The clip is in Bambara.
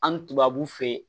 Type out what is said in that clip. An ni tubabuw fe yen